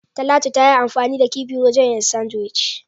Talatu tayi anfani da kifi wajen yin "Sandwich".